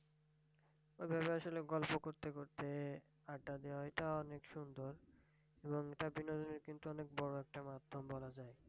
ওইভাবে আসলে গল্প করতে করতে আড্ডা দেওয়া এটা অনেক সুন্দর। এবং এটা বিনোদনে কিন্তু অনেক বড় একটা মাধ্যম বলা যায়।